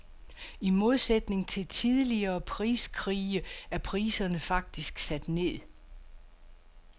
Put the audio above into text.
I modsætning til tidligere priskrige er priserne faktisk sat ned.